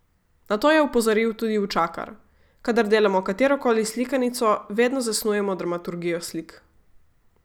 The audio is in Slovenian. Na to je opozoril tudi Učakar: "Kadar delamo katerokoli slikanico, vedno zasnujemo dramaturgijo slik.